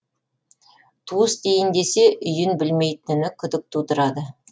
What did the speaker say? туыс дейін десе үйін білмейтіні күдік тудырады